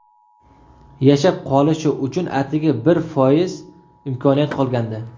Yashab qolishi uchun atigi bir foiz imkoniyat qolgandi.